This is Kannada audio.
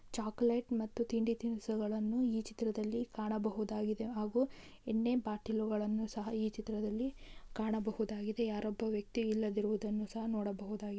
ಚಾಕ್ಲೇಟ್ ಮತ್ತು ತಿಂಡಿ ತಿನಿಸುಗಳನ್ನು ಈ ಚಿತ್ರದಲ್ಲಿ ಕಾಣಬಹುದಾಗಿದೆ ಹಾಗೂ ಎಣ್ಣೆ ಪಾಟೀಲ್ಗಳನ್ನು ಸಹ ಈ ಚಿತ್ರದಲ್ಲಿ ಕಾಣಬಹುದಾಗಿದೆ. ಯಾರೋ ಒಬ್ಬ ವ್ಯಕ್ತಿ ಇಲ್ಲದಿರುವುದನ್ನು ಸಹ ನೋಡಬಹುದು.